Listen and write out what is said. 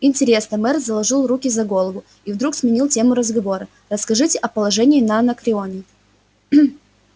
интересно мэр заложил руки за голову и вдруг сменил тему разговора расскажите о положении на анакреоне